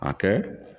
A kɛ